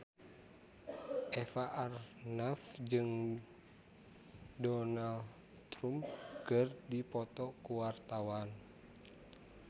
Eva Arnaz jeung Donald Trump keur dipoto ku wartawan